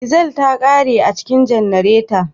Dizal ta kare a cikin janareta